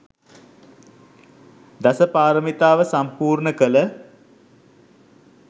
දසපාරමිතාව සම්පූර්ණ කළ